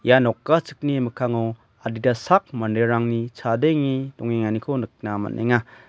ia nokachikni mikkango adita sak manderangni chadenge dongenganiko nikna man·enaga.